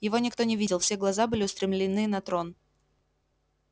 его никто не видел все глаза были устремлены на трон